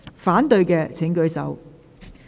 反對的請舉手。